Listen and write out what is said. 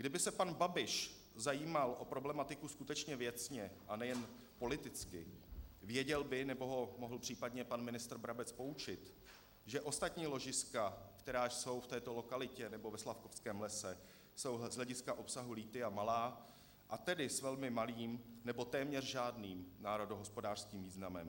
Kdyby se pan Babiš zajímal o problematiku skutečně věcně a ne jen politicky, věděl by, nebo ho mohl případně pan ministr Brabec poučit, že ostatní ložiska, která jsou v této lokalitě, nebo ve Slavkovském lese, jsou z hlediska obsahu lithia malá, a tedy s velmi malým nebo téměř žádným národohospodářským významem.